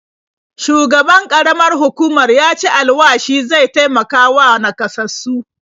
Shugaban ƙaramar hukumar ya ci alwashi zai taimakawa naƙasassu.